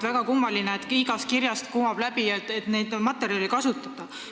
Väga kummaline, et igast kirjast kumab läbi, et neid materjale ei kasutata.